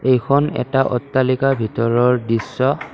এইখন এটা অট্টালিকাৰ ভিতৰৰ দৃশ্য।